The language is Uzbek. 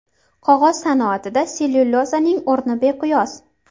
Qog‘oz sanoatida sellyulozaning o‘rni beqiyos.